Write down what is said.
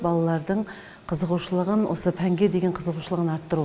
балалардың қызығушылығын осы пәнге деген қызығушылығын арттыру